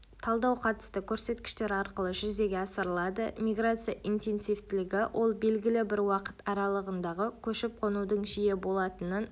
талдау қатысты көрсеткіштер арқылы жүзеге асырылады миграция интенсивтілігі ол белгілі бір уақыт аралығындағы көшіп-қонудың жиі болатынын